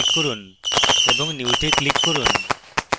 এবং new তে click করুন